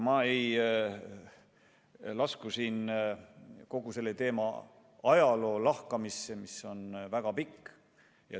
Ma ei lasku siin kogu selle teema ajalukku, mis on väga pikk.